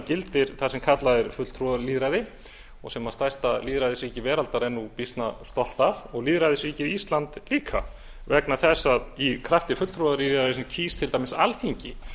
gildir það sem kallað er fulltrúalýðræði og sem stærsta lýðræðisríki veraldar er nú býsna stolt af og lýðræðisríkið ísland líka vegna þess að í krafti fulltrúalýðræðis kýs til dæmis alþingi